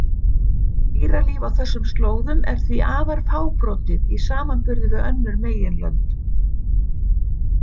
Dýralíf á þessum slóðum er því afar fábrotið í samanburði við önnur meginlönd.